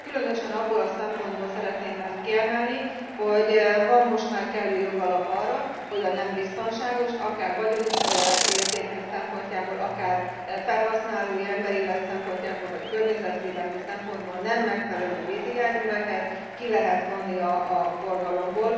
Különösen abból a szempontból szeretném ezt kiemelni, hogy van most már kellő jogalap arra, hogy a nem biztonságos, akár vagyoni értékek szempontjából, akár felhasználói, emberélet szempontjából vagy környezetvédelmi szempontból nem megfelelő vízi járműveket ki lehet vonni a forgalomból.